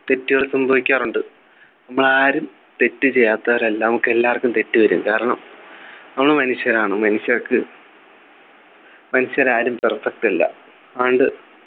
തെറ്റുകൾ സംഭവിക്കാറുണ്ട് നമ്മളാരും തെറ്റ് ചെയ്യാത്തവരല്ല നമുക്ക് എല്ലാവർക്കും തെറ്റു വരും കാരണം നമ്മൾ മനുഷ്യരാണ് മനുഷ്യർക്ക് മനുഷ്യരാരും perfect അല്ല അതുകൊണ്ട്